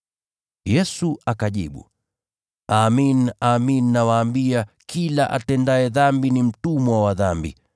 Yesu akajibu, “Amin, amin nawaambia, kila atendaye dhambi ni mtumwa wa dhambi.